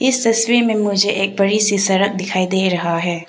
इस तस्वीर में मुझे एक बड़ी सी सड़क दिखाई दे रहा है।